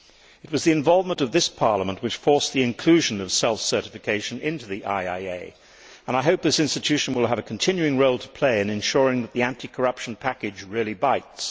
It was the involvement of this Parliament which forced the inclusion of self certification in the IIA, and I hope this institution will have a continuing role to play in ensuring that the anti corruption package really bites.